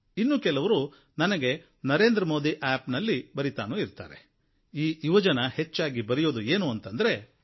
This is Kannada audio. ಇನ್ನು ಕೆಲವರು ನನಗೆ ನರೇಂದ್ರ ಮೋದಿ ಆಪ್ ನಲ್ಲಿ ಬರೀತಾನೂ ಇರ್ತಾರೆ ಈ ಯುವಜನ ಹೆಚ್ಚಾಗಿ ಬರೆಯೋದು ಏನೆಂದರೆ